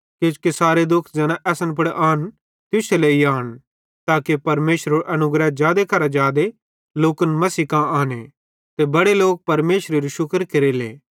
किजोकि सारे दुःख ज़ैना असन पुड़ आन तुश्शे लेइ आन ताके परमेशरेरो अनुग्रह जादे करां जादे लोकन मसीह कां आने ते बड़े लोक परमेशरेरू शुक्र केरेले